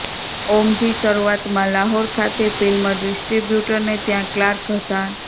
ઓમજી શરૂઆતમાં લાહોર ખાતે ફિલ્મ ડિસ્ટ્રીબ્યુટરને ત્યાં ક્લાર્ક હતા